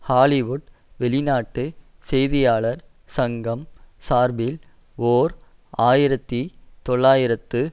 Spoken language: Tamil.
ஹாலிவுட் வெளிநாட்டு செய்தியாளர் சங்கம் சார்பில் ஓர் ஆயிரத்தி தொள்ளாயிரத்து